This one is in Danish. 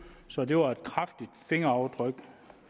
så det var et kraftigt fingeraftryk